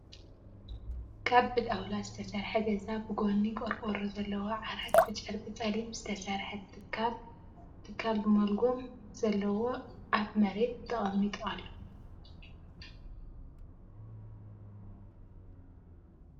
ካብ ብጣውላ ዝተሰርሐ ገዛ ብጎኑ ቆርቆሮ ዘለዎ ዓራት ብጨርቂ ፀሊም ዝተሰርሐ ትካዕ ትካዕ ብመልጎም ዘለዎ ኣብ መሬት ተቀሚጡ ኣሎ ።